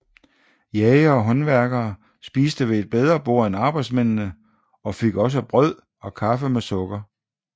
Jægere og håndværkere spiste ved et bedre bord end arbejdsmændene og fik også brød og kaffe med sukker